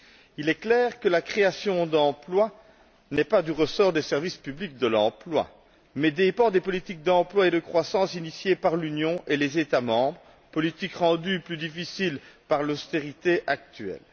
Il est clair que la création d'emploi n'est pas du ressort des services publics de l'emploi mais dépend des politiques d'emploi et de croissance initiées par l'Union et les États membres, politiques rendues plus difficiles par l'austérité actuelle.